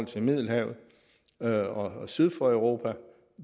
til middelhavet og syd for europa